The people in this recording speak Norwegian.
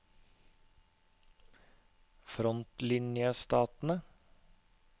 frontlinjestatene